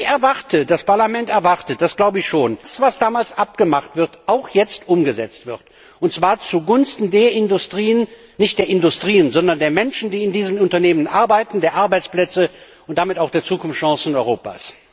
Ich erwarte das Parlament erwartet dass das, was damals abgemacht wurde, jetzt auch umgesetzt wird, und zwar zugunsten der Industrien nein, nicht der Industrien, sondern der Menschen, die in diesen Unternehmen arbeiten, der Arbeitsplätze, und damit auch der Zukunftschancen Europas.